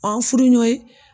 Ɔn an furu ɲɔn ye